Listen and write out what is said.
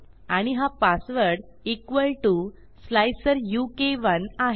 आणि हा password equal T O स्लाइसरुक1 आहे